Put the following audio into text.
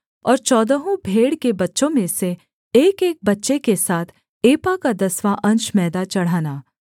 और चौदहों भेड़ के बच्चों में से एकएक बच्चे के साथ एपा का दसवाँ अंश मैदा चढ़ाना